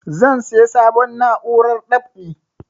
Zan saya sabon na'urar dab'i